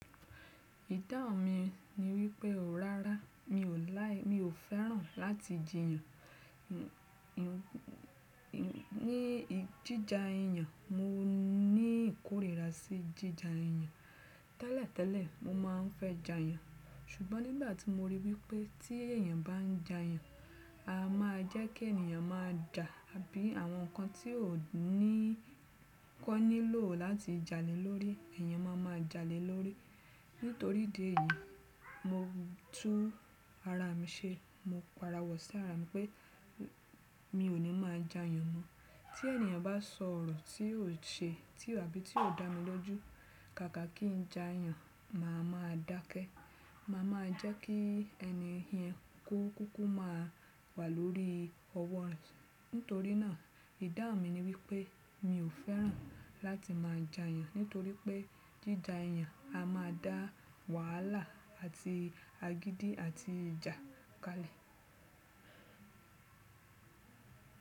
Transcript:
Ìdáhnù mi ni wípé ò rárá mi ò like, mi ò fẹ́ràn láti jìyàn. Ní jíjà iyàn mo ní ìkórìíra sí jíjà iyàn. Tẹ́lẹ̀ tẹ́lẹ̀ mo má a ń fẹ́ jà iyàn, ṣùgbọ́n nígbà tí mo ríi wípé tí èyàn bá ń jà iyàn, a má a jẹ́ kí ènìyàn má a jà àbí àwọn nǹkan tí ó ní kọ́ nílò láti jalè lórí, èyàn má má a jalè lórí. Nítorí idi èyí, mo tú ara mi ṣe. Mo para wọ̀ sí ara mi pé mi ò ní má a jà iyàn mọ. Tí ènìyàn bá sọ ọ̀rọ̀ tí yóò ṣe tì àbí tí yóò dá mi lójú, kàkà kí ń jà yàn, mà á má a dákẹ́. Mà á má a jẹ́ kí ẹni yẹn kó kú má a wà lórí ọwọ́ rẹ̀. Nítorí náà, ìdáhnù mi ni wípé mi ò fẹ́ràn láti má a jà iyàn, nítorí pé jíjà iyàn a má a dá wàhálà àti agídí àti ìjà kalẹ̀.